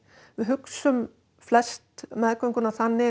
við hugsum flest meðgönguna þannig